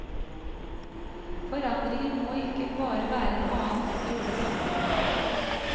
Forandringen må ikke bare være en annen måte å gjøre det samme på.